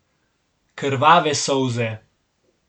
Krvave solze.